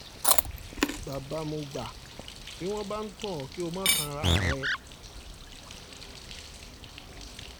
bàbá mọ̀gbà bí wọ́n bá ń tàn ọ́ kí o má tan ara rẹ